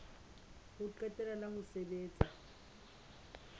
ho qetela la ho sebetsa